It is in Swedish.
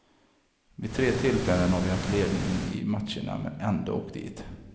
Vid tre tillfällen har vi haft ledningen i matcherna men ändå åkt dit.